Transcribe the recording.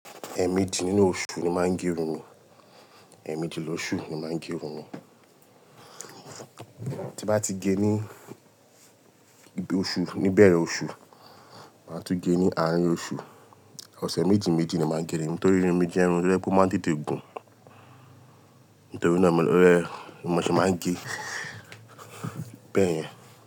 Ẹẹ̀mẹjì nínú oṣù ni máa ń gẹ irun mi. Ẹẹ̀mẹjì lọṣú ni máa ń gẹ irun mi. Ti bá ti gé ní igbe oṣù, níbẹ̀rẹ̀ oṣù, máa tún gé ní àárín oṣù. Ọ̀sẹ̀ méjì méjì ni máa ń gẹ irun mi torí irun mi jẹ́ irun to ye pọ máa ń tètè gùn. Nítorí náà mi ló rẹ, mo sì máa ń ge bẹ́ẹ̀ yẹn.